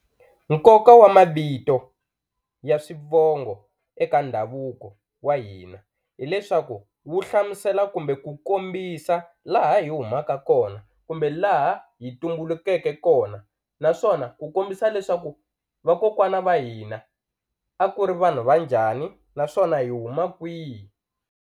Nkoka wa mavito ya swivongo eka ndhavuko wa hina hileswaku wu hlamusela kumbe ku kombisa laha hi humaka kona kumbe laha hi tumbulukeke kona naswona ku kombisa leswaku vakokwana va hina a ku ri vanhu va njhani naswona hi huma kwihi.